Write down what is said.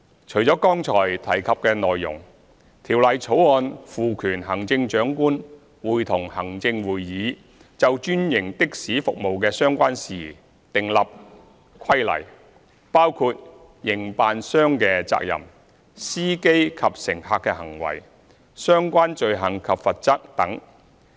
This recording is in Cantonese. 除了剛才提及的內容，《條例草案》賦權行政長官會同行政會議，就專營的士服務的相關事宜訂立規例，包括營辦商的責任、司機及乘客的行為，以及相關罪行及罰則等。